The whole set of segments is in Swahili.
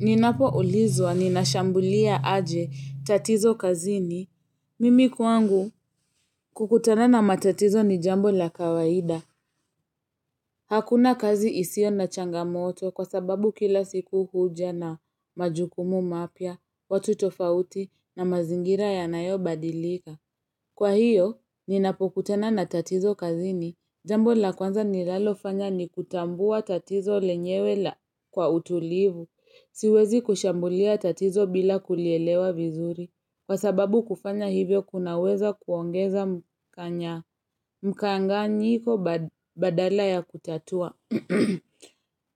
Ninapoulizwa ninashambulia aje tatizo kazini. Mimi kwangu kukutana na matatizo ni jambo la kawaida. Hakuna kazi isio na changamoto kwa sababu kila siku huja na majukumu mapya, watu tofauti na mazingira yanayo badilika. Kwa hiyo, ninapokutana na tatizo kazini, jambo la kwanza nilalofanya ni kutambua tatizo lenyewe kwa utulivu. Siwezi kushambulia tatizo bila kulielewa vizuri Kwa sababu kufanya hivyo kunaweza kuongeza mkanganyiko badala ya kutatua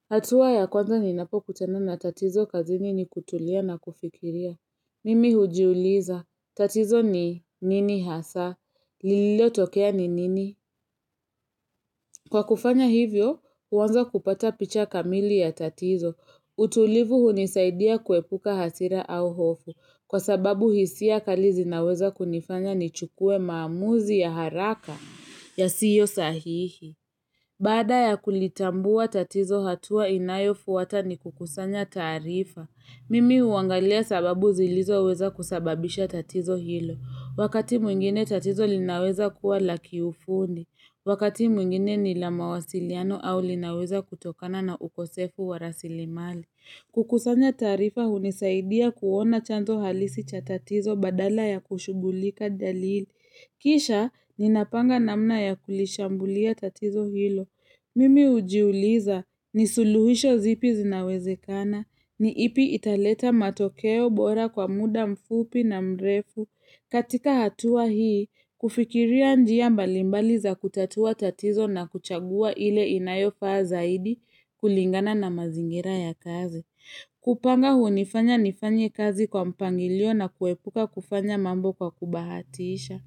hatua ya kwanza ninapokutana na tatizo kazini ni kutulia na kufikiria Mimi hujiuliza, tatizo ni nini hasa, liliotokea ni nini Kwa kufanya hivyo, uanza kupata picha kamili ya tatizo utulivu hunisaidia kuepuka hasira au hofu kwa sababu hisia kali zinaweza kunifanya nichukue maamuzi ya haraka yasiyo sahihi. Baada ya kulitambua tatizo hatua inayofwata ni kukusanya taarifa. Mimi uangalia sababu zilizo weza kusababisha tatizo hilo. Wakati mwingine tatizo linaweza kuwa la kiufundi. Wakati mwingine ni la mawasiliano au linaweza kutokana na ukosefu wa rasilimali. Kukusanya taarifa hunisaidia kuona chanzo halisi cha tatizo badala ya kushugulika dalili. Kisha, ninapanga namna ya kulishambulia tatizo hilo. Mimi ujiuliza, ni suluhisho zipi zinawezekana. Ni ipi italeta matokeo bora kwa muda mfupi na mrefu. Katika hatua hii, kufikiria njia mbalimbali za kutatua tatizo na kuchagua ile inayofaa zaidi kulingana na mazingira ya kazi. Kupanga hunifanya nifanye kazi kwa mpangilio na kuepuka kufanya mambo kwa kubahatiisha.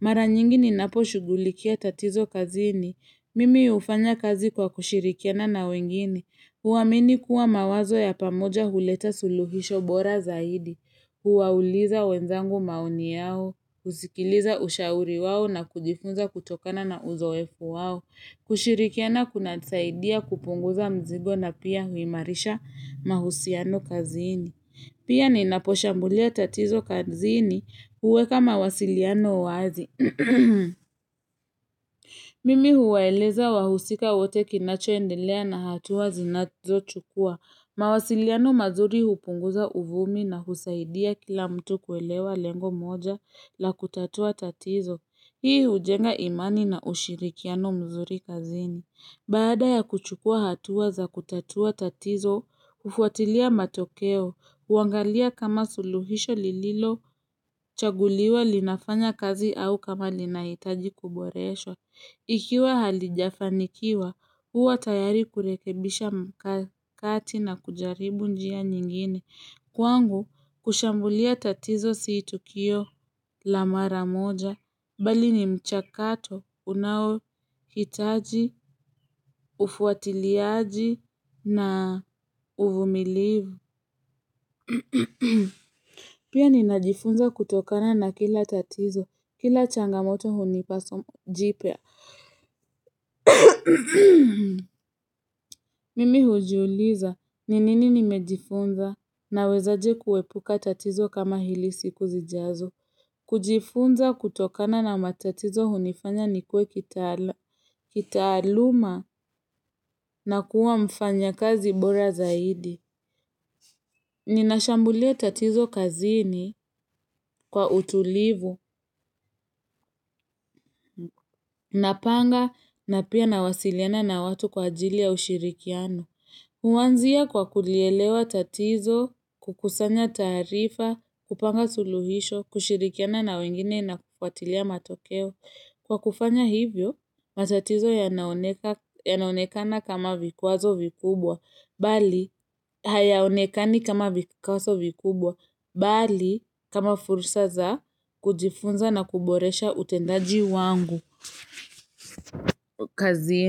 Mara nyingi ninapo shugulikia tatizo kazini, mimi ufanya kazi kwa kushirikiana na wengine. Huamini kuwa mawazo ya pamoja huleta suluhisho bora zaidi, huwauliza wenzangu maoni yao, kusikiliza ushauri wao na kujifunza kutokana na uzoefu wao, kushirikiana kunanisaidia kupunguza mzigo na pia uimarisha mahusiano kazini. Pia ninaposhambulia tatizo kanzini uweka mawasiliano wazi. Mimi huwaeleza wahusika wote kinachoendelea na hatuwa zinazo chukua. Mawasiliano mazuri hupunguza uvumi na husaidia kila mtu kuelewa lengo moja la kutatua tatizo. Hii hujenga imani na ushirikiano mzuri kazini. Baada ya kuchukua hatuwa za kutatua tatizo, ufuatilia matokeo, uangalia kama suluhisho lililochaguliwa linafanya kazi au kama linaitaji kuboreshwa. Ikiwa halijafanikiwa, huwa tayari kurekebisha mkakati na kujaribu njia nyingine. Kwangu, kushambulia tatizo si tukio la mara moja, bali ni mchakato, unao hitaji, ufuatiliaji, na uvumilivu. Pia ninajifunza kutokana na kila tatizo, kila changamoto hunipa somo jipya. Mimi hujiuliza, ni nini nimejifunza nawezaje kuepuka tatizo kama hili siku zijazo. Kujifunza kutokana na matatizo hunifanya nikue kitaaluma na kuwa mfanyakazi bora zaidi. Ninashambulia tatizo kazini kwa utulivu, napanga na pia nawasiliana na watu kwa ajili ya ushirikiano. Huanzia kwa kulielewa tatizo, kukusanya taarifa, kupanga suluhisho, kushirikiana na wengine na kufuatilia matokeo. Kwa kufanya hivyo, matatizo yanaonekana kama vikwazo vikubwa, bali hayaonekani kama vikwazo vikubwa, bali kama fursa za kujifunza na kuboresha utendaji wangu kazini.